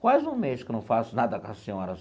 Quase um mês que eu não faço nada com a senhora.